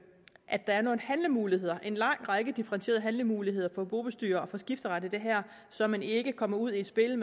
at der er nogle handlemuligheder en lang række differentierede handlemuligheder for bobestyrer og for skifteret i det her så man ikke kommer ud i et spil